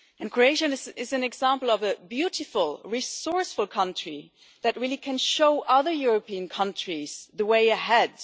Croatia is an example of a beautiful, resourceful country that can really show other European countries the way ahead.